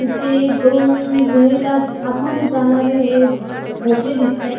तिथे दोन गुहेला आतमध्ये जाणारे हे बोगदे दिसत आहेत .]